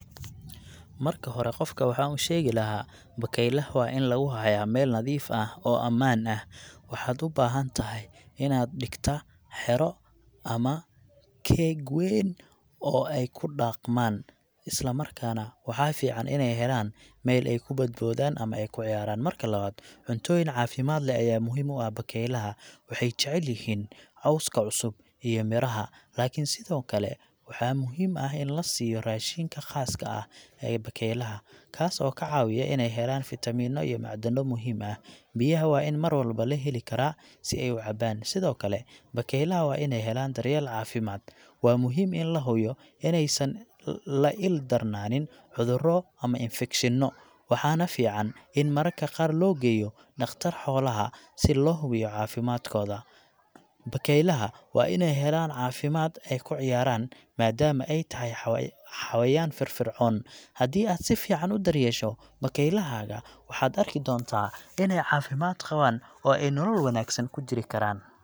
Marka hore, qofka waxaan u sheegi lahaa , bakaylaha waa in lagu hayaa meel nadiif ah oo ammaan ah. Waxaad u baahan tahay inaad dhigto xero ama cage weyn oo ay ku dhaqmaan, isla markaana waxaa fiican inay helaan meel ay ku boodaan oo ay ku ciyaaraan. Marka labaad, cuntooyin caafimaad leh ayaa muhiim u ah bakaylaha. Waxay jecel yihiin cawska cusub iyo midhaha, laakiin sidoo kale waxaa muhiim ah in loa siiyo raashinka khaaska ah ee bakaylaha, kaas oo ka caawiya inay helaan fiitamiinno iyo macdano muhiim ah. Biyaha waa in mar walba la heli karaa si ay u cabaan. Sidoo kale, bakaylaha waa inay helaan daryeel caafimaad. Waa muhiim in la hubiyo inaysan la ildarananin cudurro ama infekshanno, waxaana fiican in mararka qaar loo geeyo dhakhtar xoolaha si loo hubiyo caafimaadkooda. Bakaylaha waa inay helaan waqti ay ku ciyaaraan, maadaama ay tahay xa..,xawayaan firfircoon. Haddii aad si fiican u daryeesho bakaylahaaga, waxaad arki doontaa inay caafimaad qabaan oo ay nolol wanaagsan ku jiri karaan.